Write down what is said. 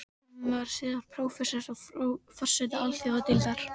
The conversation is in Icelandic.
Hann varð síðar prófessor og forseti alþjóðadeildar